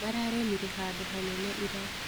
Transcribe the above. Mararĩmire handũ hanene ira.